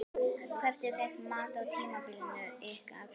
Hvert er þitt mat á tímabilinu ykkar?